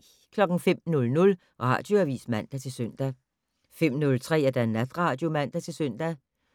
05:00: Radioavis (man-søn) 05:03: Natradio (man-søn)